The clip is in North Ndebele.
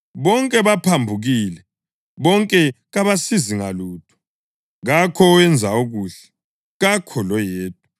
Bonke baphambukile, bonke kabasasizi ngalutho; kakho owenza okuhle, kakho loyedwa.” + 3.12 AmaHubo 14.1-3; 53.1-3; UMtshumayeli 7.20